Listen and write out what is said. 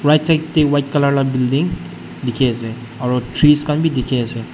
right side te white colour laga building dekhi ase aru tress khan bhi dekhi ase.